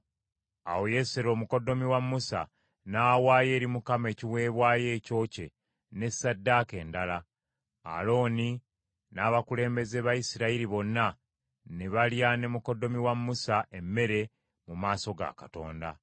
Awo Yesero, mukoddomi wa Musa, n’awaayo eri Katonda ekiweebwayo ekyokye ne ssaddaaka endala; Alooni n’abakulembeze ba Isirayiri bonna ne balya ne mukoddomi wa Musa emmere mu maaso ga Katonda.